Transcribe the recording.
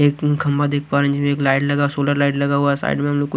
एक हम खंबा देख पा रहे हैं जिसमें एक लाइट लगा सोलर लाइट लगा हुआ साइड में हमें कु--